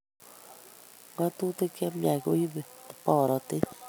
Ngatutik chemiach koibu borotet